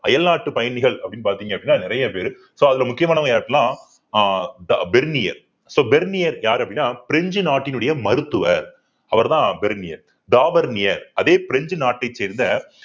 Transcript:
அயல்நாட்டு பயணிகள் அப்படின்னு பார்த்தீங்க அப்படின்னா நிறைய பேரு so அதுல முக்கியமானவங்க அஹ் the bernier so bernier யாரு அப்படின்னா பிரெஞ்சு நாட்டினுடைய மருத்துவர் அவர்தான் bernier daber near அதே பிரெஞ்சு நாட்டை சேர்ந்த